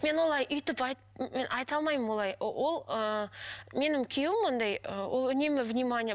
мен олай өйттіп мен айта алмаймын олай ол ыыы менің күйеуім андай ы ол үнемі внимание